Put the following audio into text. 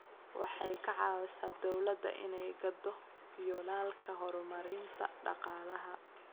Waxay ka caawisaa dawladda inay gaadho yoolalka horumarinta dhaqaalaha.